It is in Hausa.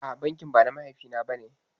A'a bankin ba na mahaifi na bane